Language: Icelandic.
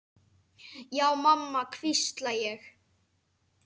Já mamma, hvísla ég.